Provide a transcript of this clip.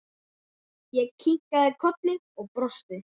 Ég kinkaði kolli og brosti.